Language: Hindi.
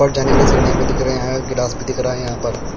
जाने के लिए सीढ़िया भी दिख रहे हैं ग्रास भी दिख रहा है यहाँ पर--